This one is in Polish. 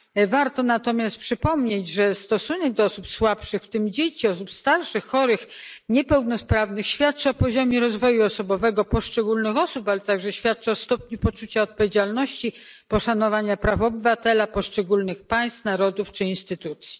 Warto natomiast przypomnieć, że stosunek do osób słabszych, w tym dzieci, osób starszych, chorych, niepełnosprawnych, świadczy o poziomie rozwoju osobowego poszczególnych osób, ale także o stopniu poczucia odpowiedzialności i poszanowania praw obywatela ze strony państw, narodów czy instytucji.